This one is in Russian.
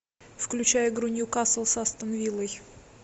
включай игру ньюкасл с астон виллой